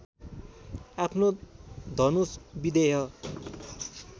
आफ्नो धनुष विदेह